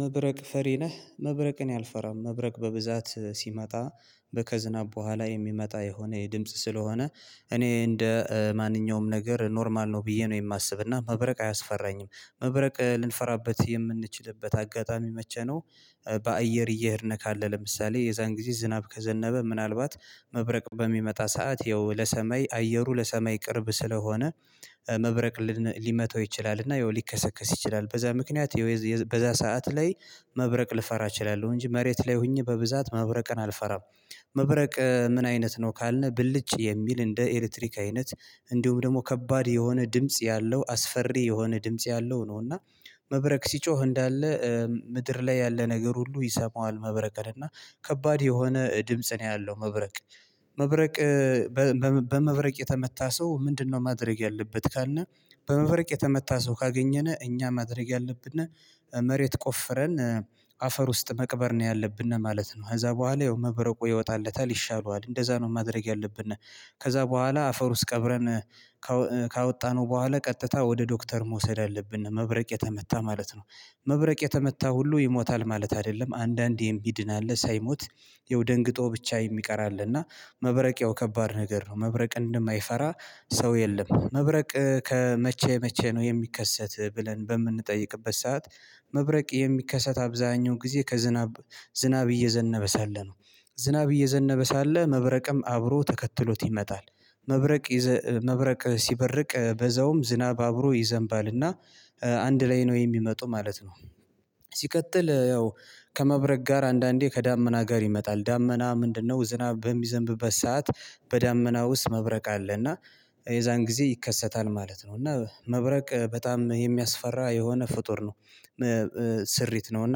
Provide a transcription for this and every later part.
"መብረቅ ፈሪ ነህ?" መብረቅ እኔ አልፈራም። መብረቅ በብዛት ሲመጣ በ ከዝናብ በኋላ የሚመጣ የሆነ የድምጽ ስለሆነ እኔ እንደ ማንኛውም ነገር ኖርማል ነው ብዬ ነው የማስብና መብረቅ አያስፈራኝም። መብረቅ ልንፈራበት የምንችልበት አጋጣሚ መቼ ነው? በአየር እየሄድን ካለ ለምሳሌ የዛን ጊዜ ዝናብ ከዘነበ ምናልባት መብረቅ በሚመጣ ሰዓት ያው ለሰማይ አየሩ ለሰማይ ቅርብ ስለሆነ መብረቅ ሊመታው ይችላል፤ እና ያው ሊከሰከስ ይችላል። በዛ ምክንያት ያው በዛ ሰዓት ላይ መብረቅ ልፈራ እችላለሁ እንጂ መሬት ላይ ሆኜ በብዛት መብረቅን አልፈራም። መብረቅ ምን አይነት ነው ካልን ብልጭ የሚል እንደ ኤሌትሪክ አይነት እንዲሁም ደግሞ ከባድ የሆነ ድምጽ ያለው አስፈሪ የሆነ ድምጽ ያለው ነው፤ እና መብረቅ ሲጮህ እንዳለ ምድር ላይ ያለ ነገር ሁሉ ይሰማዋል መብረቅ፤ እና ከባድ የሆነ ድምጽ ነው ያለው መብረቅ። መብረቅ በመብረቅ የተመታ ሰው ምንድነው ማድረግ ያለበት ካልነ፤ በመበረቅ የተመታ ሰው ካገኘነ እኛ ማድረግ ያለብን መሬት ቆፍረን አፈር ውስጥ መቅበር ነው ያለብን ማለት ነው። ከዛ በኋላ ያው መብረቁ ይወጣለታል ይሻለዋል እንደዛ ነው ማድረግ ያለብነ። ከዛ በኋላ አፈር ውስጥ ቀብረን ካወ ካወጣነው በኋላ ቀጥታ ወደ ዶክተር መውሰድ አለብን መብረቅ የተመታ ማለት ነው። መብረቅ የተመታ ሁሉ ይሞታል ማለት አይደለም አንዳንድ የሚድን አለ ሳይሞት፤ ያው ደንግጦ ብቻ የሚቀር አለ እና መብረቅ ያው ከባድ ነገር ነው መብረቅ እንደማይፈራ ሰው የለም። መብረቅ ከመቼ መቼ ነው የሚከሰት ብለን በምንጠይቅበት ሰዓት መብረቅ የሚከሰት አብዛሀኛው ጊዜ ከዝናብ ዝናብ እየዘነበ ሳለ ነው። ዝናብ እየዘነበ ሳለ መብረቅም አብሮ ተከትሎት ይመጣል። መብረቅ ይዘ መብረቅ ሲበርቅ በዛውም ዝናብ አብሮ ይዘንባልና አንድ ላይ ነው የሚመጡ ማለት ነው። ሲቀጥል ያው ከመብረቅ ጋር አንዳንዴ ከዳመና ጋር ይመጣል ዳመና ምንድነው ዝናብ በሚዘንብበት ሰዓት በዳመና ውስጥ መብረቅ አለ እና የዛን ጊዜ ይከሰታል ማለት ነው፤ እና መብረቅ በጣም የሚያስፈራ የሆነ ፍጡር ነው። ስሪት ነውና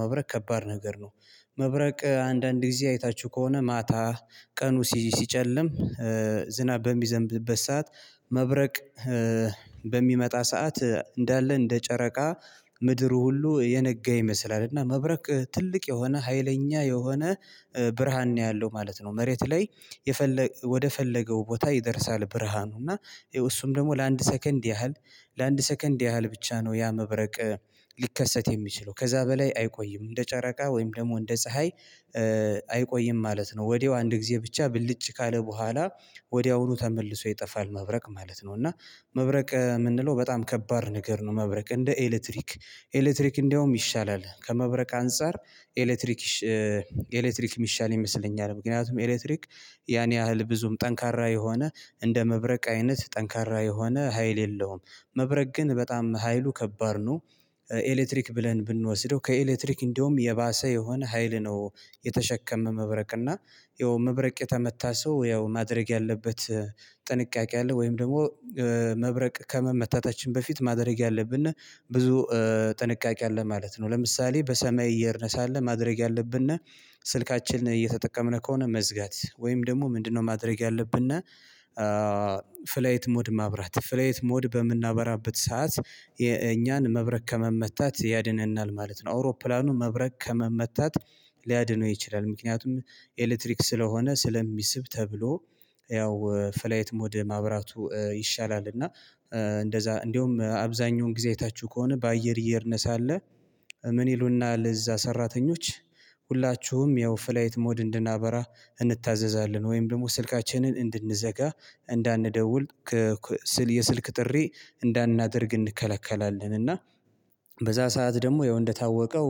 መብረቅ ከባድ ነገር ነው። መብረቅ አንዳንድ ጊዜ አይታችሁ ከሆነ ማታ ቀኑ ሲጨልም ዝናብ በሚዘንብበት ሰዓት መብረቅ በሚመጣ ሰዓት እንዳለ እንደ ጨረቃ ምድሩ ሁሉ የነጋ ይመስላል እና መብረቅ ትልቅ የሆነ ሀይለኛ የሆነ ብርሃን ነው ያለው ማለት ነው። መሬት ላይ የፈለ ወደፈለገው ቦታ ይደርሳል ብርሃኑ እና እሱም ደግሞ ለአንድ ሰከንድ ያህል ለአንድ ሰከንድ ያህል ብቻ ነው ያ መብረቅ ሊከሰት የሚችለው፤ ከዛ በላይ አይቆይም። እንደ ጨረቃ ወይም ደግሞ እንደ ፀሀይ አይቆይም ማለት ነው። ወዲያው አንድ ጊዜ ብቻ ብልጭ ካለ በኋላ ወዲያውኑ ተመልሶ ይጠፋል መብረቅ ማለት ነው። እና መብረቅ የምንለው በጣም ከባድ ነገር ነው መብረቅ እንደ ኤሌክትሪክ፤ ኤሌክትሪክ እንደውም ይሻላል ከመብረቅ አንፃር ኤሌክትሪክ ይሻ ኤሌክትሪክ የሚሻል ይመስለኛል። ምክንያቱም ኤሌክትሪክ ያን ያህል ብዙም ጠንካራ የሆነ እንደ መብረቅ አይነት ጠንካራ የሆነ ሀይል የለውም። መብረቅ ግን በጣም ሀይሉ ከባድ ነው። ኤሌክትሪክ ብለን ብንወስደው ከኤሌክትሪክ እንደውም የባሰ የሆነ ሀይል ነው የተሸከመ መብረቅ፤ እና ያው መብረቅ የተመታ ሰው ያው ማድረግ ያለበት ጥንቃቄ አለ፤ ወይም ደግሞ መብረቅ ከመመታታችን በፊት ማድረግ ያለብን ብዙ ጥንቃቄ አለ ማለት ነው። ለምሳሌ በሰማይ እየሄድን ሳለ ማድረግ ያለብን ስልካችንን እየተጠቀምን ከሆነ መዝጋት ወይም ደግሞ ምንድነው ማድረግ ያለብን ፍላይት ሞድ ማብራት። ፍላይት ሞድ በምናበራበት ሰዓት የእኛን መብረቅ ከመመታት ያድነናል ማለት ነው። አውሮፕላኑ መብረቅ ከመመታት ሊያድነው ይችላል። ምክንያቱም ኤሌክትሪክ ስለሆነ ስለሚስብ ተብሎ ያው ፍላይት ሞድ ማብራቱ ይሻላል እና እንደዛ እንደውም አብዛኛውን ጊዜ አይታችሁ ከሆነ በአየር እየሄድን ሳለ ምን ይሉናል እዛ ሰራተኞች ሁላችሁም ያው ፍላይት ሞድ እንድናበራ እንታዘዛለን፤ ወይም ደግሞ ስልካችንን እንድንዘጋ እንዳንደውል የስልክ ጥሪ እንዳናደርግ እንከለከላለን፤ እና በዛ ሰዓት ደግሞ ያው እንደታወቀው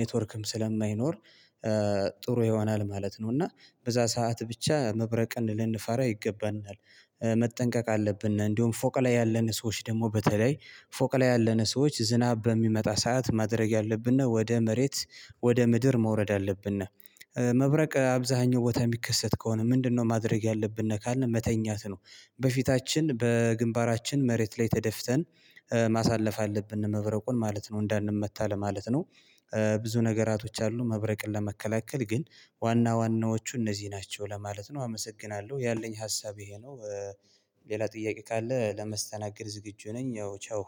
ኔትዎርክም ስለማይኖር ጥሩ ይሆናል ማለት ነው፤ እና በዛ ሰዓት ብቻ መብረቅን ልንፈራ ይገባናል መጠንቀቅ አለብን፤ እንደውም ፎቅ ላይ ያለን ሰዎች ደግሞ በተለይ ፎቅ ላይ ያለን ሰዎች ዝናብ በሚመጣ ሰዓት ማድረግ ያለብን ወደ መሬት ወደ ምድር መውረድ አለብን። መብረቅ አብዛሀኛው ቦታ የሚከሰት ከሆነ "ምንድነው ማድረግ ያለብን?" ካልን፤ መተኛት ነው። በፊታችን በግንባራችን መሬት ላይ ተደፍተን ማሳለፍ አለብን መብረቁን ማለት ነው እንዳንመታ ለማለት ነው። ብዙ ነገራቶች አሉ መብረቅን ለመከላከል ግን ዋና ዋናዎቹ እነዚህ ናቸው ለማለት ነው። አመሰግናለሁ ያለኝ ሀሳብ ይሄ ነው። ሌላ ጥያቄ ካለ ለመስተናገድ ዝግጁ ነኝ ያው ቻው።